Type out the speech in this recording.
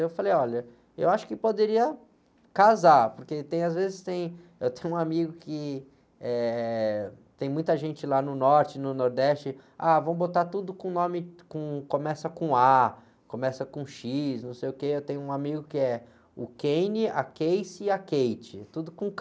Eu falei, olha, eu acho que poderia casar, porque tem, às vezes tem, eu tenho um amigo que tem, eh, muita gente lá no Norte, no Nordeste, ah, vamos botar tudo com nome, com, começa com á, começa com xis, não sei o quê, eu tenho um amigo que é o, a e a, tudo com ká.